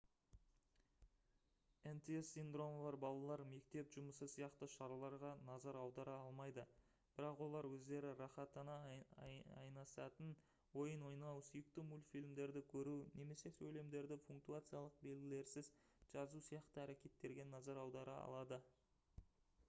нтс синдромы бар балалар мектеп жұмысы сияқты шараларға назар аудара алмайды бірақ олар өздері рақаттана айнысатын ойын ойнау сүйікті мультфильмдерді көру немесе сөйлемдерді пунктуациялық белгілерсіз жазу сияқты әрекеттерге назар аудара алады